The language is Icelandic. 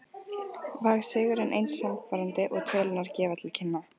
Var sigurinn eins sannfærandi og tölurnar gefa til kynna?